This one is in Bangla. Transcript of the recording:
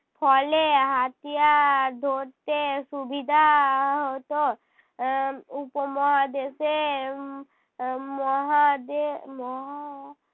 ফলে হাতিয়ার ধরতে সুবিধা হতো আহ উপমহাদেশের এর মহাদে~ মহা~